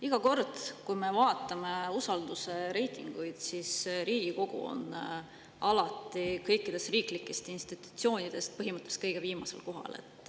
Iga kord, kui me vaatame usaldusreitinguid, siis näeme, et Riigikogu on alati kõikide riiklike institutsioonide seas põhimõtteliselt kõige viimasel kohal.